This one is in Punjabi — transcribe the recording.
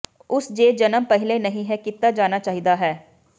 ਉਸੇ ਜੇ ਜਨਮ ਪਹਿਲੇ ਨਹੀ ਹੈ ਕੀਤਾ ਜਾਣਾ ਚਾਹੀਦਾ ਹੈ